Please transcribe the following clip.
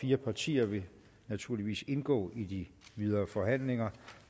fire partier vil naturligvis indgå i de videre forhandlinger